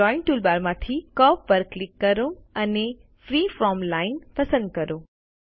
drawing toolbar માંથી curve પર click કરો અને ફ્રીફોર્મ લાઇન પસંદ કરો